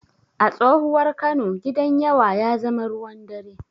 A tsohuwar Kano, Gidan yawa ya zama ruwan dare.